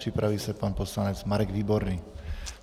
Připraví se pan poslanec Marek Výborný.